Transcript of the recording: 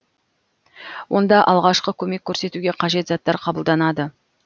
онда алғашқы көмек көрсетуге қажет заттар қабылданады